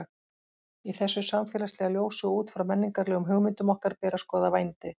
Í þessu samfélagslega ljósi og út frá menningarlegum hugmyndum okkar ber að skoða vændi.